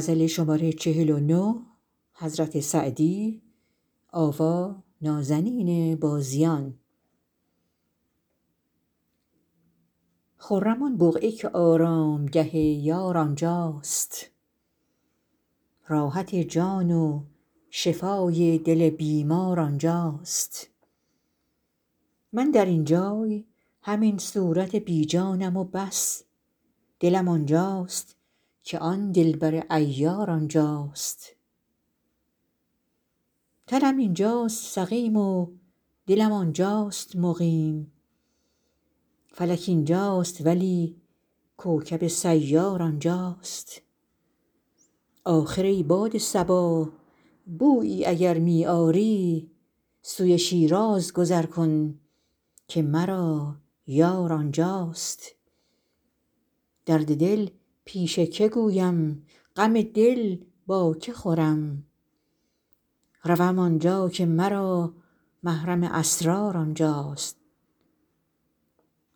خرم آن بقعه که آرامگه یار آنجاست راحت جان و شفای دل بیمار آنجاست من در این جای همین صورت بی جانم و بس دلم آنجاست که آن دلبر عیار آنجاست تنم اینجاست سقیم و دلم آنجاست مقیم فلک اینجاست ولی کوکب سیار آنجاست آخر ای باد صبا بویی اگر می آری سوی شیراز گذر کن که مرا یار آنجاست درد دل پیش که گویم غم دل با که خورم روم آنجا که مرا محرم اسرار آنجاست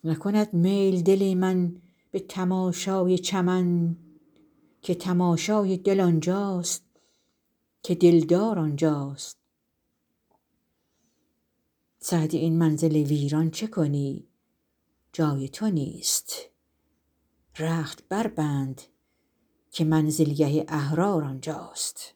نکند میل دل من به تماشای چمن که تماشای دل آنجاست که دلدار آنجاست سعدی این منزل ویران چه کنی جای تو نیست رخت بربند که منزلگه احرار آنجاست